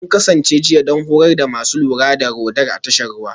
Kun kasance jiya don horar da masu lura da Radar a tashar ruwa?